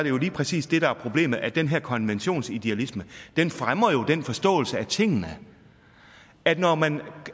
jo lige præcis det der er problemet altså at den her konventionsidealisme jo fremmer den forståelse af tingene at når man